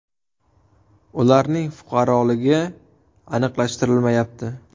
Ularning fuqaroligi aniqlashtirilmayapti.